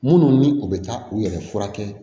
Minnu ni u bɛ taa u yɛrɛ furakɛ